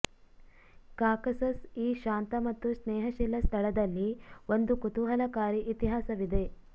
Caucasus ಈ ಶಾಂತ ಮತ್ತು ಸ್ನೇಹಶೀಲ ಸ್ಥಳದಲ್ಲಿ ಒಂದು ಕುತೂಹಲಕಾರಿ ಇತಿಹಾಸವಿದೆ